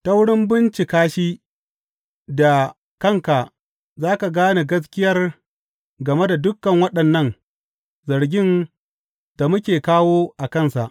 Ta wurin bincika shi da kanka za ka gane gaskiyar game da dukan waɗannan zargin da muke kawo a kansa.